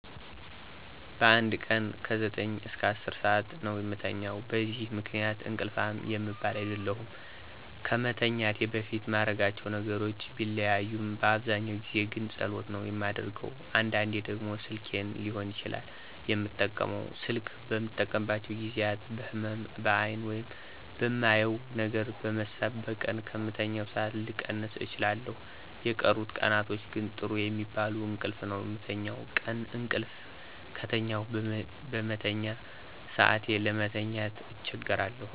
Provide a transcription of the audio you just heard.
በአንድ ቀን ከ9-10 ሠአት ነው የምተኛው። በዚህ ምክንያት እንቅልፋም የምባል አይደለሁም። ከመተኛቴ በፊት ማረጋቸው ነገሮች ቢለያይም በአብዛኛው ጊዜ ግን ጸሎት ነው የማደርገው። አንዳንዴ ደግሞ ስልኬን ሊሆን ይችላል የምጠቀመው። ስልክ በምጠቀምባቸው ጊዜያት በህመም(በአይን) ወይም በማየው ነገር በመሳብ በቀን ከምተኛው ሠአት ልቀንስ እችላለሁ። የቀሩት ቀናቶች ግን ጥሩ የሚባል እንቅልፍ ነው የምተኛው። ቀን እቅልፍ ከተኛሁ በመተኛ ሰአቴ ለመተኛት አቸገራለሁ